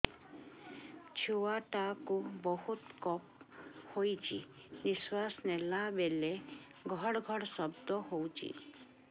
ଛୁଆ ଟା କୁ ବହୁତ କଫ ହୋଇଛି ନିଶ୍ୱାସ ନେଲା ବେଳେ ଘଡ ଘଡ ଶବ୍ଦ ହଉଛି